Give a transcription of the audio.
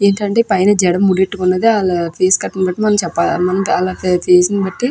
ఏంటి అంటే జడ ముడి వేసుకుని ఉంది. --